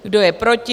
Kdo je proti?